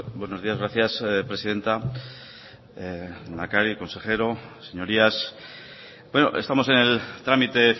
buenos días gracias presidenta lehendakari consejero señorías estamos en el trámite